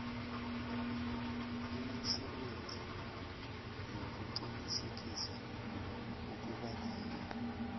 imisebenzi yokuqinisekisa ukubakhona